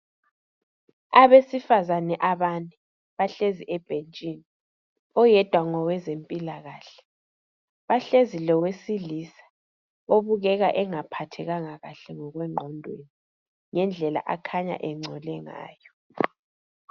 Abesifazane abane bahlezi ebhentshini oyedwa ngowezempilakahle. Bahlezi lowesilisa obukeka engaphathekanga kahle ngokwengqondweni ngendlela akhanya engcole ngayo.